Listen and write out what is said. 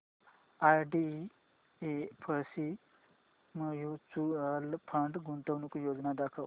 IDFC mutual fund गुंतवणूक योजना दाखव